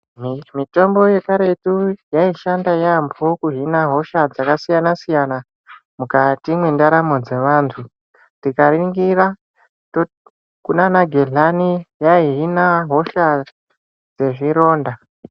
Mitombo yekaretu yaishanda yamho kuhina hosha dzakasiyanasiyana mukati mwendaramo dzevantu tikaringira kunanagehlani yaihina hosha dzezvironda.